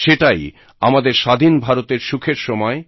সেটাই আমাদের স্বাধীন ভারতের সুখের সময়